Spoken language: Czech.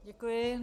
Děkuji.